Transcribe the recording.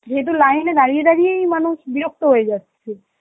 সে তো line এ দাঁড়িয়ে দাঁড়িয়েই মানুষ বিরক্ত হয়ে যাচ্ছে.